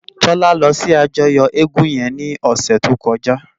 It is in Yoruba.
Tola lò si àjòyò égùn yèn lòsè tókòjá